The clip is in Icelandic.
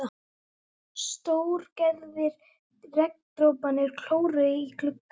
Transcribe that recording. Stórgerðir regndroparnir klóruðu í gluggann.